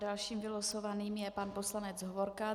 Dalším vylosovaným je pan poslanec Hovorka.